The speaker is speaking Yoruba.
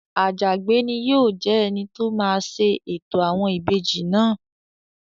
Àjàgbé ni yóò jẹ́ ẹni tó máa ṣe ètò àwọn ìbejì náà